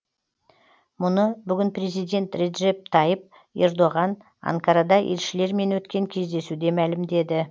мұны бүгін президент реджеп тайып ердоған анкарада елшілермен өткен кездесуде мәлімдеді